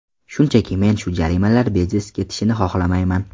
Shunchaki, men shu jarimalar beiz ketishini xohlamayman.